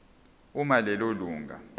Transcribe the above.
uma lelo lunga